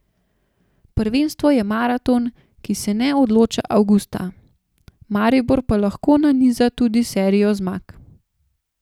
Prvenstvo je maraton, ki se ne odloča avgusta, Maribor pa lahko naniza tudi serijo zmag.